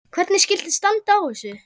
Hvernig skyldi standa á þessu?